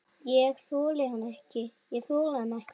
Ég þoldi hann ekki.